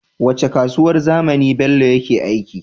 Wacce kasuwar zamani bello yake aiki